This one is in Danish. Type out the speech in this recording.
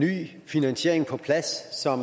stor